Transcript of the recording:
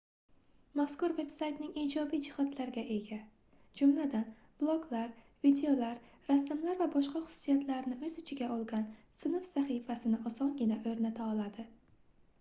mazkur veb-saytlar ijobiy jihatlarga ega jumladan bloglar videolar rasmlar va boshqa xususiyatlarni oʻz ichiga olgan sinf sahifasini osongina oʻrnata oladi